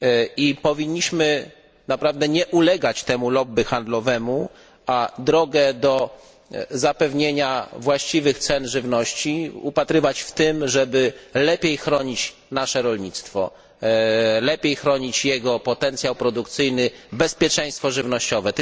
I powinniśmy naprawdę nie ulegać temu lobby handlowemu, a drogę do zapewnienia właściwych cen żywności upatrywać w tym, żeby lepiej chronić nasze rolnictwo, jego potencjał produkcyjny, bezpieczeństwo żywnościowe.